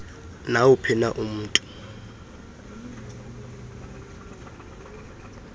nawuphi na umntu